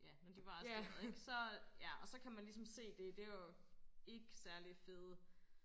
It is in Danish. ja når de var arresteret ik så ja så kan man ligesom se det det var jo ik særlig fede